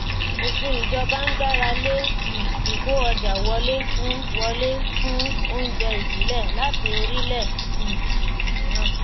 òfin ìjọba ń gbàrà lé um ìkó ọjà wọlé fún wọlé fún oúnjẹ ìbílẹ̀ láti orílẹ̀ um èdè mìíràn.